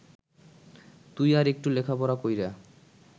তুই আর এট্টু লেখাপড়া কইরা